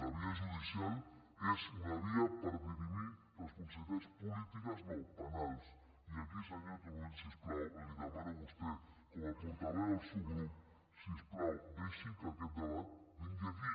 la via judicial és una via per dirimir responsabilitats polítiques no penals i aquí senyor turull si us plau li demano a vostè com a portaveu del seu grup si us plau deixi que aquest debat vingui aquí